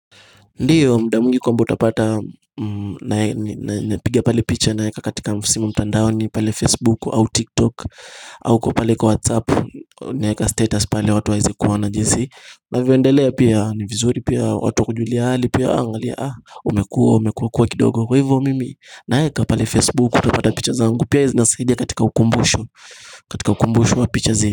Ndiyo mdaa mwingi kwamba utapata nae ni pigia pale picture naeka katika msimo mtandaoni pale Facebook au TikTok au kwa pale kwa WhatsApp naeka katika status pale watu waweze kuona jinsi na vyioendelea pia ni vizuri pia watu wakujulie hali pia angalia ah umekua umekua kwa kidogo kwa hivyo mimi Naeka pale Facebook utapata picture zangu pia zinasahidia katika ukumbusho katika ukumbusho wa picture zile.